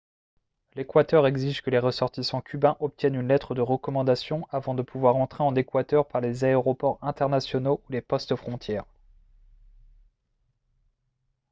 l'équateur exige que les ressortissants cubains obtiennent une lettre de recommandation avant de pouvoir entrer en équateur par les aéroports internationaux ou les postes-frontières